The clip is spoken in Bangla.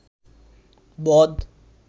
বদ